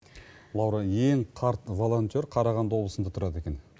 лаура ең қарт волонтер қарағанды облысында тұрады екен